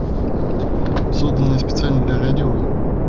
созданные специально для радио